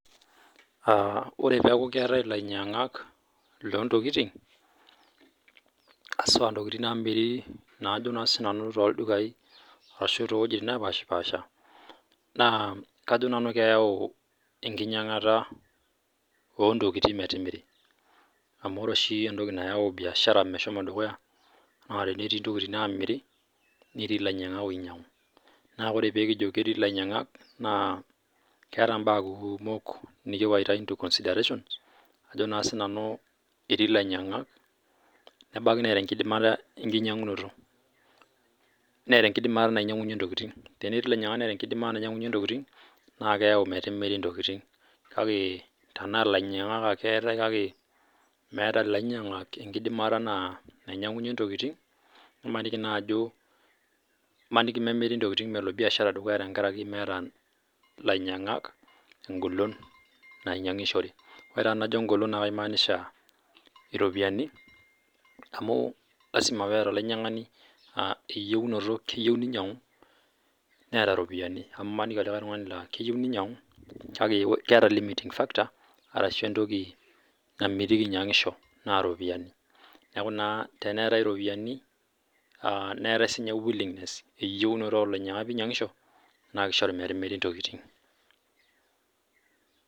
Ore pee eku keetae elainyiangak loo ntokitin hasua entokitin naamiri too ildukai ashu too wuejitin napashipasha naa kajo nanu keyau enkinyiangata oo ntokitin metimiri amu ore oshi entoki nayau biashara mehomo dukuya naa tenetii entokitin naamiri netii elainyiangak oinyiangu naa oree pee kijo ketii lainyiangak naa ketaa mbaa kumok nikiwaita into consideration etii lainyiangak nebaiki netaa enkidinata enkinyiangunoto netaa enkidimata nainyiangunye ntokitin naa keyau metimiri ntokitin kake Tena lainyiangak ate etae kake meeta lainyiangak enkidimata nainyiangunye ntokitin nimaniki memiri ntokitin melo biashara dukuya metii elainyiangak egolon nainyiangishore oree taa tenajo egolon naa kaimanisha eropiani amu lasima pee etaa olainyiangani eyiunoto keyieu nainyiang'u netaa eropiani amu emaniki olikae tung'ana laa keyieu nainyiang'u kake ketaa liming factor arashu entoki namitiki enyiangisho naa eropiani neeku naa yenetai eropiani neetae sininye willingness oo lainyiangak pee einyiangisho naa kishoru metimiri ntokitin